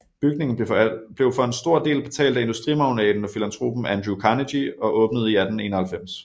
Bygningen blev for en stor del betalt af industrimagnaten og filantropen Andrew Carnegie og åbnede i 1891